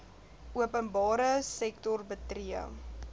openbare sektor betree